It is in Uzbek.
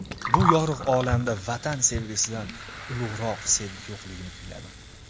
Bu yorug‘ olamda Vatan sevgisidan ulug‘roq sevgi yo‘qligini kuyladim.